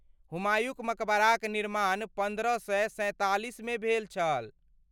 हुमायूँक मकबराक निर्माण पन्द्रह सए सैंतालिसमे भेल छल।